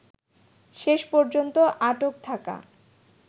শেষ পর্যন্ত আটক থাকা